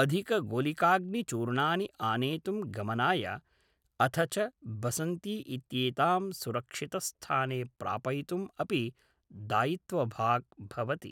अधिकगोलिकाऽग्निचूर्णानि आनेतुं गमनाय अथ च बसन्ती इत्येतां सुरक्षितस्थाने प्रापयितुम् अपि दायित्वभाक् भवति।